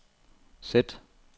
sæt